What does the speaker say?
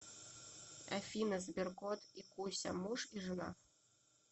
афина сберкот и куся муж и жена